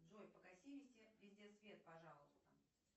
джой погаси везде свет пожалуйста